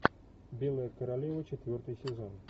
белая королева четвертый сезон